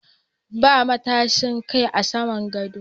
Ba matashin Kai a saman gadon.